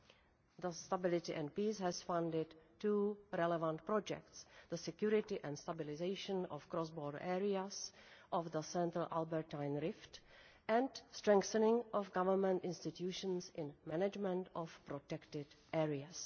Thus, the IcSP has funded two relevant projects the security and stabilisation of cross border areas of the Central Albertine Rift' and Strengthening of government institutions in management of protected areas'.